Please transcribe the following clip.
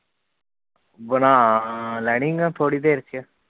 ਬਣਾ ਲੈਣੀ ਮੈਂ ਥੋੜੀ ਦੇਰ ਚ